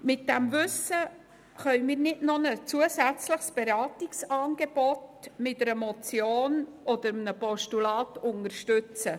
Mit diesem Wissen können wir nicht noch ein zusätzliches Beratungsangebot mit einer Motion und mit einem Postulat unterstützen.